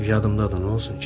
Yadımdadır, nə olsun ki?